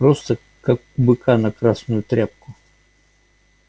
просто как у быка на красную тряпку